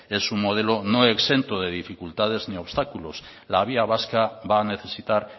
es un modelo no exento de dificultades ni obstáculos la vía vasca va a necesitar